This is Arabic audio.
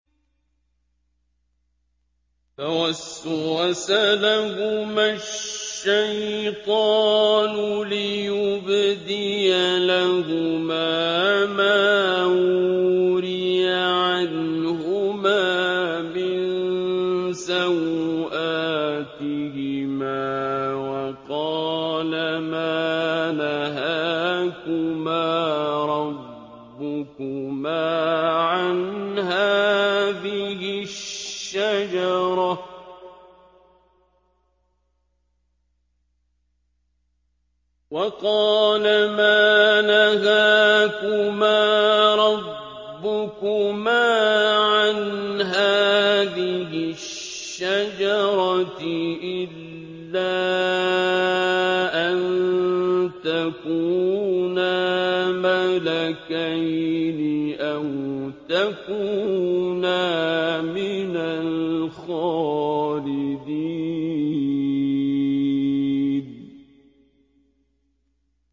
فَوَسْوَسَ لَهُمَا الشَّيْطَانُ لِيُبْدِيَ لَهُمَا مَا وُورِيَ عَنْهُمَا مِن سَوْآتِهِمَا وَقَالَ مَا نَهَاكُمَا رَبُّكُمَا عَنْ هَٰذِهِ الشَّجَرَةِ إِلَّا أَن تَكُونَا مَلَكَيْنِ أَوْ تَكُونَا مِنَ الْخَالِدِينَ